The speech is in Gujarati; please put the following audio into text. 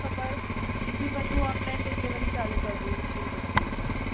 તો બસ, ઈ ભી બધું ઓનલાઇન ડિલવરી ચાલુ કર દીધી છે એ લોકો એ ભી.